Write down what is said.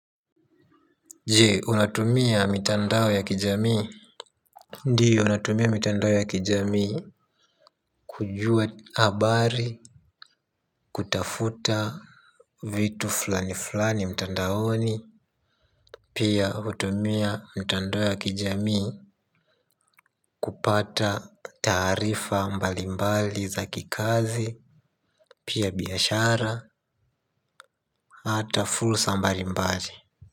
Je unatumia mitandao ya kijamii. Ndiyo natumia mitandao ya kijamii. Kujua habari kutafuta vitu fulani fulani mtandaoni. Pia hutumia mitandao ya kijamii kupata taarifa mbalimbali za kikazi. Pia biashara hata fursa mbalimbali.